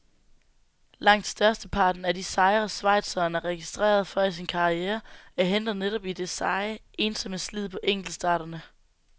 Langt størsteparten af de sejre, schweizeren er registreret for i sin karriere, er hentet netop i det seje, ensomme slid på enkeltstarterne.